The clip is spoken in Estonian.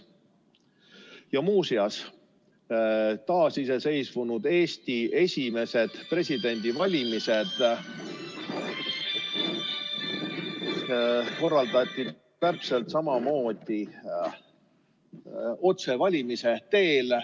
Ja muuseas, ka taasiseseisvunud Eesti esimesed presidendivalimised korraldati täpselt samamoodi otsevalimise teel.